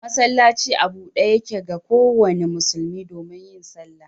Masallaci a bude Yake ga kowanda musulmi domin yin sallah.